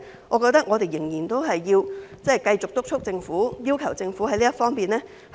我認為我們仍要繼續督促政府，要求政府做好這方面。